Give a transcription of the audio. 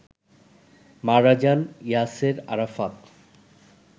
মারা যান ইয়াসের আরাফাত